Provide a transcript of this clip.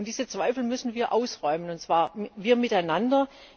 Diese Zweifel müssen wir ausräumen, und zwar wir miteinander.